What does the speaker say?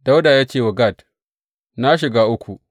Dawuda ya ce wa Gad, Na shiga uku.